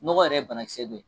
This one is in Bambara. Nɔgɔ yɛrɛ ye bana kisɛ dɔ ye.